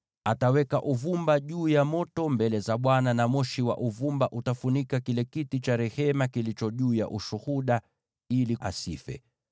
Ataweka uvumba juu ya moto mbele za Bwana , na moshi wa uvumba utafunika kile kiti cha rehema kilicho juu ya Ushuhuda, ili asife.